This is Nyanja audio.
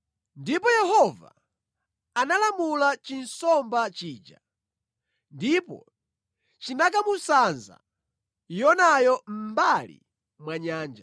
Ndipo Yehova analamula chinsomba chija, ndipo chinakamusanza Yonayo mʼmbali mwa nyanja.